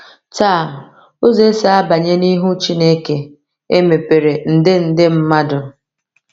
Taa, ụzọ esi abanye n’ihu Chineke emepere nde nde mmadụ!